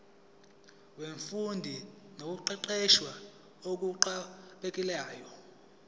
wemfundo nokuqeqesha okuqhubekayo